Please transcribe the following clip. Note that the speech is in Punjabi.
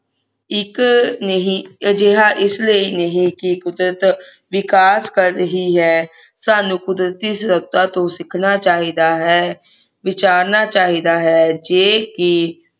ਇਕ ਨਹੀਂ ਅਜਿਹਾ ਇਸ ਲਈ ਨਹੀਂ ਕਿ ਕੁਦਰਤ ਵਿਕਾਸ ਕਰ ਰਹੀ ਹੈ ਸਾਨੂੰ ਕੁਦਰਤੀ ਸੱਤਾ ਤੋਂ ਸਿੱਖਣਾ ਚਾਹੀਦਾ ਹੈ ਵਿਚਾਰਨਾ ਚਾਹੀਦਾ ਹੈ ਜੇ ਕਿ